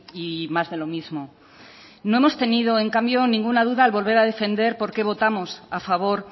y más de lo mismo no hemos tenido en cambio ninguna duda al volver a defender porqué votamos a favor